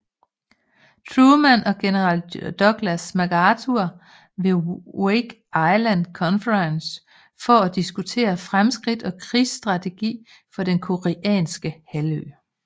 Truman og general Douglas MacArthur ved Wake Island Conference for at diskutere fremskridt og krigsstrategi for den koreanske halvø